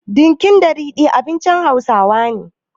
Dinkin da ridi abincin Hausawa ne.